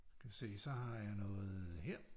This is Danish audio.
Skal vi se så har jeg noget her